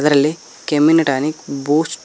ಅಲ್ಲಿ ಕೆಮ್ಮಿನ tonic boost --